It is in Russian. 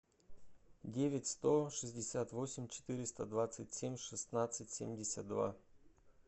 девять сто шестьдесят восемь четыреста двадцать семь шестнадцать семьдесят два